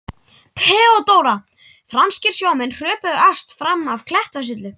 THEODÓRA: Franskir sjómenn hröpuðu efst fram af klettasyllu.